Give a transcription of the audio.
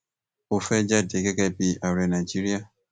ó fẹẹ jáde gẹgẹ bíi ààrẹ nàìjíríà